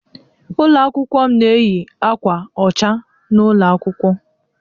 Ụlọ akwụkwọ m na-eyi akwa ọcha n'ụlọ akwụkwọ.